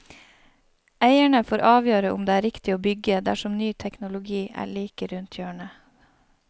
Eierne får avgjøre om det er riktig å bygge, dersom nye teknologi er like rundt hjørnet.